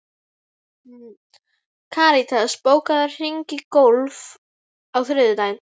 Karitas, bókaðu hring í golf á þriðjudaginn.